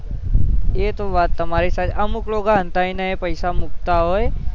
એતો વાત તમારી સાચી અમુક લોકો સંતાય ને પૈસા મુકતા હોય